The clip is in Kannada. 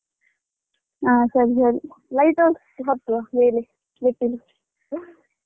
ಹಾ ಸರಿ ಸರಿ light house ಗೆ ಹತ್ತುವ ಮೇಲೆ ಮೆಟ್ಟಿಲು